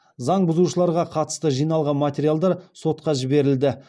заң бұзушыларға қатысты жиналған материалдар сотқа жіберілді